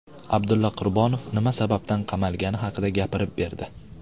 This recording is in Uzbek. Abdulla Qurbonov nima sababdan qamalgani haqida gapirib berdi.